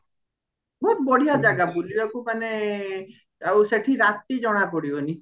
ବହୁତ ବାଧ୍ୟ ଜାଗା ବୁଲିବାକୁ ମାନେ ଆଉ ସେଠି ରାତି ଜଣା ପଡିବନି